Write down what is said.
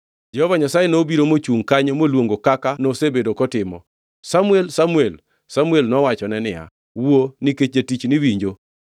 Jehova Nyasaye nobiro mochungʼ kanyo moluongo kaka nosebedo kotimo, “Samuel! Samuel!” Samuel nowachone niya, “Wuo nikech jatichni winjo.”